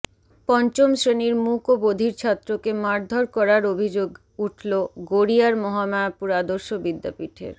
পঞ্চম শ্রেণির মূক ও বধির ছাত্রকে মারধর করার অভিযোগ উঠলগড়িয়ার মহামায়াপুর আদর্শ বিদ্যাপীঠের